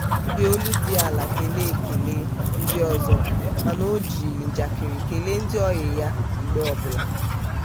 o ji olu dị ala kelee kelee ndị ọzọ mana o ji njakịrị ekele ndị ọyị ya mgbe ọbụla.